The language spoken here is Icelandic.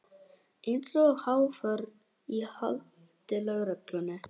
Eins og haförn í haldi lögreglu.